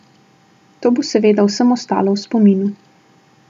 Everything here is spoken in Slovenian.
To bo seveda vsem ostalo v spominu.